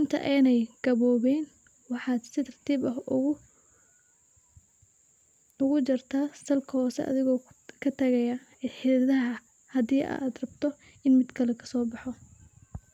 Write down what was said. inta aaynan gaboobin waxaa si tartiib ah ogu jartaa salka hoose adhiga oo katagaaya xididaha hadii aad rabto in mid kale kasoo baxo.